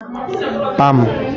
pam